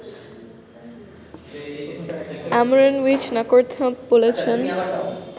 আমরনউইচ Nakornthap বলছেন